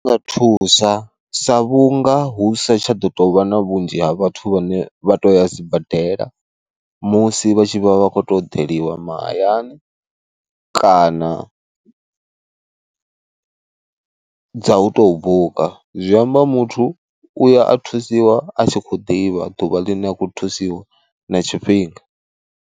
Thusa sa vhunga hu sa tsha ḓo tou vha na vhunzhi ha vhathu vhane vha to ya sibadela musi vha tshi vha vha khoto deliwa mahayani, kana a dza u tou buka, zwi amba muthu u ya a thusiwa a tshi khou ḓivha ḓuvha ḽine a khou thusiwa na tshifhinga.